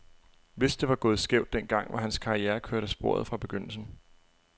Hvis det var gået skævt den gang, var hans karriere kørt af sporet fra begyndelsen.